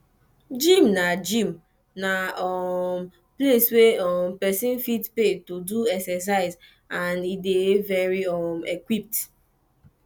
gym na gym na um place wey um persin fit pay to do exercise and e de very um equipped